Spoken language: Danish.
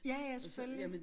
Ja ja selvfølgelig